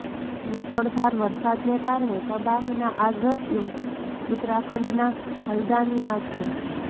મુશળધાર વરસાદને કારણે તબાહીના આ દ્રશ્યો ઉત્તરાખંડના હલ્દાનીના છે